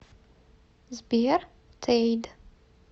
сбер тэйд